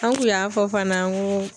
An kun y'a fɔ fana n ko